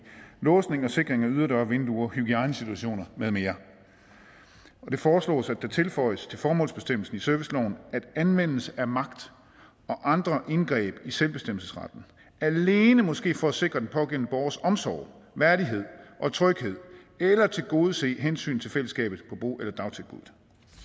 låsning og sikring af yderdøre vinduer hygiejnesituationer med mere det foreslås at der tilføjes til formålsbestemmelsen i serviceloven at anvendelse af magt og andre indgreb i selvbestemmelsesretten alene må ske for at sikre den pågældende borgers omsorg værdighed og tryghed eller tilgodese hensynet til fællesskabet på bo eller dagtilbuddet